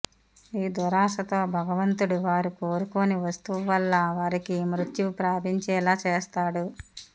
ఈ దురాశతో భగవంతుడు వారు కోరుకోని వస్తువు వల్ల వారికి మృత్యువు ప్రాపించేలా చేస్తాడు